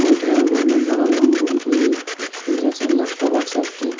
বইটার golden colour এবং room -টির সুইচ আছে ল্যাপটপ আছে একটি ।